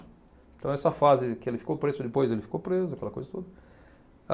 Então, essa fase que ele ficou preso, depois ele ficou preso, e aquela coisa toda.